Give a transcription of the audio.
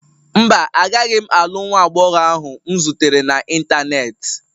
Mba, agaghị m alụ nwa agbọghọ ahụ m zutere n'Ịntanet.